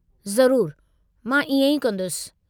ज़रूरु, मां इएं ई कंदुसि।